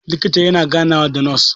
likita yana ganawa da nos